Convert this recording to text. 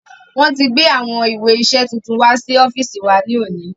Wọ́n ti gbé àwọn ìwé iṣẹ tuntun wá sí ọ́fíìsì wa ní òní